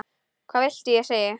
Hvað viltu ég segi?